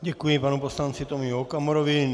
Děkuji panu poslanci Tomio Okamurovi.